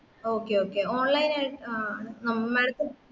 okay okay online ആയിട്ട് ആ അ madam ത്തിനു